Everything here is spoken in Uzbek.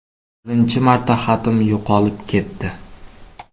Birinchi marta xatim yo‘qolib ketdi.